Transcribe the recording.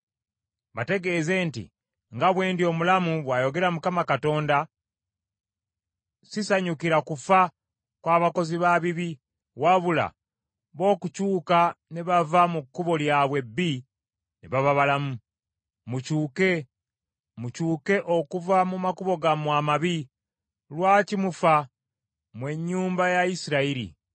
Bategeeze nti, ‘Nga bwe ndi omulamu, bw’ayogera Mukama Katonda, sisanyukira kufa kw’abakozi ba bibi, wabula bo okukyuka ne bava mu kkubo lyabwe ebbi ne baba balamu. Mukyuke, mukyuke okuva mu makubo gammwe amabi. Lwaki mufa, mmwe ennyumba ya Isirayiri?’